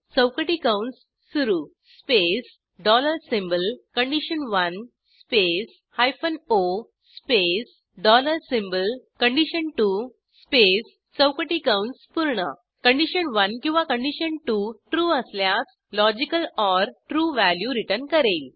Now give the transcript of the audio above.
चौकटी कंस सुरू स्पेस डॉलर सिम्बॉल कंडिशन1 space hyphen O space dollar symbol कंडिशन2 स्पेस चौकटी कंस पूर्ण कंडिशन1 किंवा कंडिशन 2 ट्रू असल्यास लॉजिकल ओर trueव्हॅल्यू रिटर्न करेल